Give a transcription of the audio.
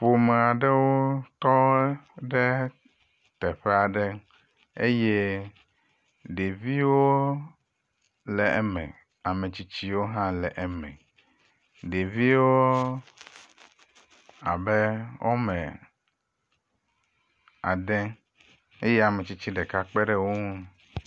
Ƒomea ɖewo tɔ ɖe teƒea ɖe eye ɖeviwo le eme. Ametsitsiwo hã le eme. Ɖeviwoo abe wome ade eye ametsitsi ɖeka kpe ɖe wo ŋu.